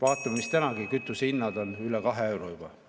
Vaatame, mis tänagi kütusehinnad on – üle kahe euro juba.